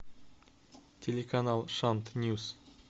телеканал шант ньюс